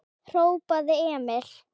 hrópaði Emil.